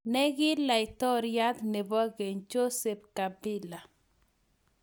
Ne ki Laitoriat nebo Keny, Joseph Kabila.